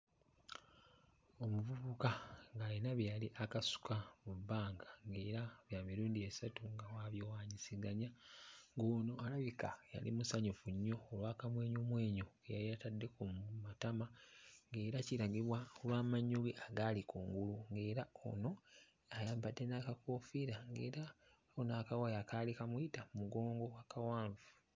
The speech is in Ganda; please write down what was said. Omuvubuka ng'ayina bye yali akasuka mu bbanga ng'era bya mirundi esatu ng'abiwaanyisiganya, ng'ono alabika yali musanyufu nnyo olw'akamwenyumwenyu ke yali atadde ku matama, ng'era kiragibwa lw'amannyo ge agaali kungulu, ng'era ono ayambadde n'akakoofiira ng'era waliwo n'akawaya akaali kamuyita ku mugongo akawanvu.